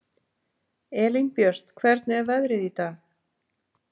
Elínbjört, hvernig er veðrið í dag?